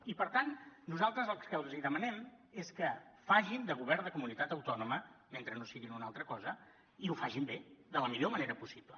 i per tant nosaltres el que els demanem és que facin de govern de comunitat autònoma mentre no siguin una altra cosa i ho facin bé de la millor manera possible